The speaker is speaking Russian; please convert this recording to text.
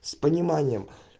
с пониманием